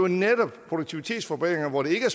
netop produktivitetsforbedringer hvor det ikke er